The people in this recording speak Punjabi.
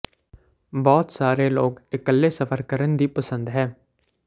ਬਹੁਤ ਸਾਰੇ ਲੋਕ ਇਕੱਲੇ ਸਫ਼ਰ ਕਰਨ ਦੀ ਪਸੰਦ ਹੈ